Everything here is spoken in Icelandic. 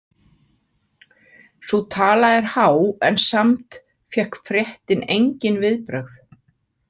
Sú tala er há en samt fékk fréttin engin viðbrögð.